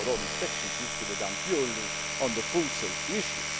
Before, all inspections used to be done purely on the food safety issue.